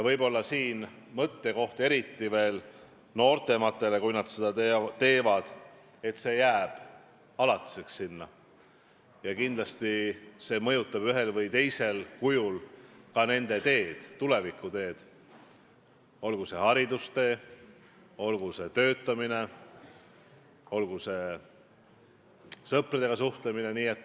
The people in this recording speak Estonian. Võib-olla on siin mõttekoht, eriti veel noorematele inimestele, et kui nad seda teevad, siis see info jääb alatiseks sinna ja kindlasti mõjutab see ühel või teisel kujul ka nende tulevikuteed, olgu see haridustee, olgu see töötee, olgu see sõpradega suhtlemine.